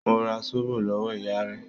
Mo ra Zóbò lọ́wọ́ ìyá rẹ̀.